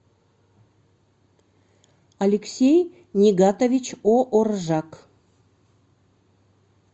алексей нигатович ооржак